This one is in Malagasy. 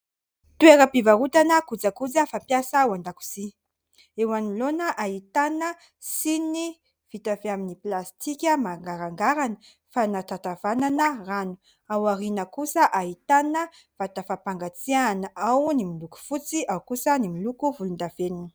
Toera-pivarotana kojakoja fa mpiasa ao an-dakozia. Eo anoloana ahitana siny vita avy amin'ny plastika mangarangarana fanatatavanana rano, ao ariana kosa ahitana vata fampangatsiahana ; ao ny miloko fotsy ao kosa ny miloko volondavenina.